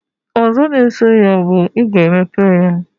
Ozo na eso ya bu, iga emepe ya